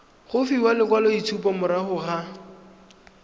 go fiwa lekwaloitshupo morago ga